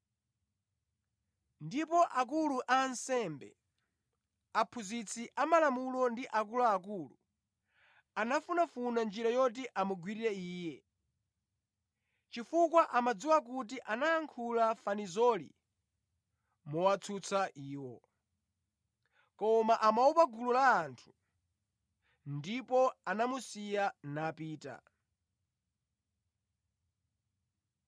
Ndipo akulu a ansembe, aphunzitsi a malamulo ndi akuluakulu anafunafuna njira yoti amugwirire Iye chifukwa amadziwa kuti anayankhula fanizoli mowatsutsa iwo. Koma amaopa gulu la anthu; ndipo anamusiya napita.